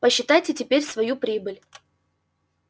посчитайте теперь свою прибыль